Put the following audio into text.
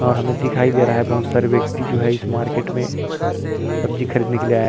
और हमे दिखाई दे रहा है बहोत सारे व्यक्ति जो है इस मार्किट में सब्जी खरीदने के लिए आये --